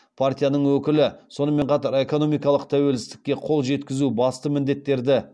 партияның өкілі сонымен қатар экономикалық тәуелсіздікке қол жеткізу басты міндеттерді